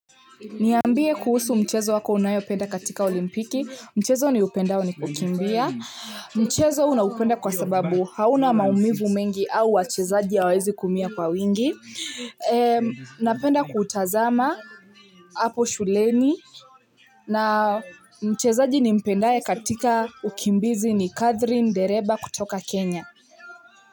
Niambie kuhusu mchezo wako unayo penda katika olimpiki, mchezo ni upendao wani kukimbia, mchezo huu naupenda kwa sababu hauna maumivu mengi au wachezaji awawezi kuumia kwa wingi, napenda kutazama hapo shuleni, na chezaji ni mpendae katika ukimbizi ni Kathrin Dereba kutoka Kenya.